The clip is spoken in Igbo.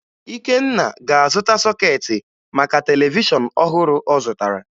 Ikenna ga-azụta sọkeetị maka televishọn ọhụrụ ọ zụtara